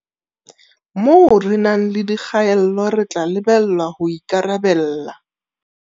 Moo re nang le dikgaello, re tla lebellwa ho ikarabella.